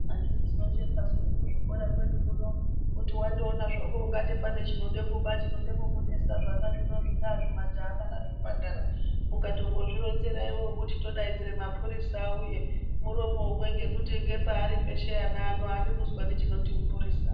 Anditi tinoshekasu nekuzvikora kwedu kuno wandoona hako kuti pane chinoda kuba chinoda kukunesa zvana zvino zvingaa zvimajaha kana zvimphandara ukatongozvironzera iwewe kuti todaidzira mapurisa auye muromo umwe ngekuti ngepaari pano ana eshe aadi kuzwa chinoti mupurisa.